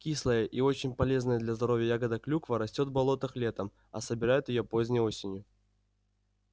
кислая и очень полезная для здоровья ягода клюква растёт в болотах летом а собирают её поздней осенью